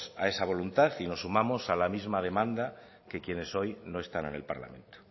a esa voluntad y nos sumamos a la misma demanda que quienes hoy no están en el parlamento